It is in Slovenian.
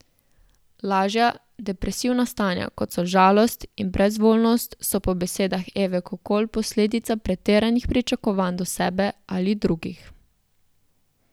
Lažja depresivna stanja, kot so žalost in brezvoljnost, so po besedah Eve Kokol posledica pretiranih pričakovanj do sebe ali drugih.